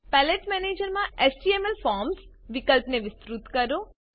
palette manager માં HTML forms વિકલ્પને વિસ્તૃત કરો